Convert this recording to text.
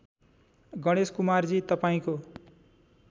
गणेश कुमारजी तपाईँको